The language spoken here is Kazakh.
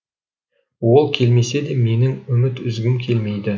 ол келмесе де менің үміт үзгім келмейді